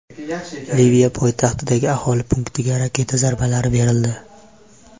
Liviya poytaxtidagi aholi punktiga raketa zarbalari berildi.